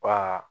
Wa